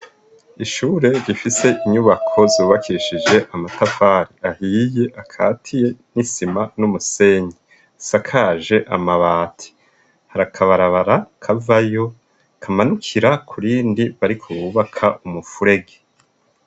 Ishure gifise inyubako zubakeshije amatafari ahiye akatiye n'isima numusenyi zisakaje amabati harakabarabara kava yo kamanukira kurindi bariko bubaka umufurege.